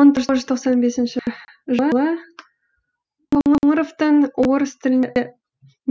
мың тоғыз жүз тоқсан бесінші жылы қоңыровтың орыс тілінде